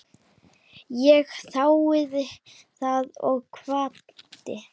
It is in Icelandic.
Ég þáði það og kvaddi.